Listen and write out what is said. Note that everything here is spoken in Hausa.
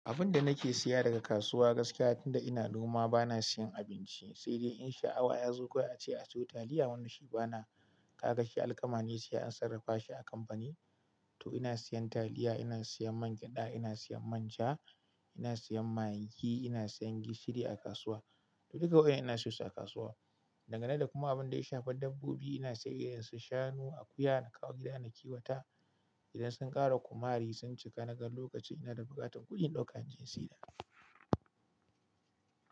Abin da nake siya daga kasuwa gaskiya tunda ina noma bana siyan abinci, sai dai in sha Allah yazo kwaya ce aso taliya wani shi bana ka gashi alkama ne siya an sarrafa shi a kampani. To ina siyan taliya, ina siyan man gyada, ina siyan manja, ina siyan magi, ina siyan gishiri a kasuwa. To duka waɗannan ina siyo su a kasuwa. Dangane da kuma abin da ya shafa dabbobi ina sai irin su shanu, akuya nakawo gida nakiwata. Idan sun ƙara kumari sun cika naga lokaci ina da buƙatan kuɗin ɗaukan gin siyar.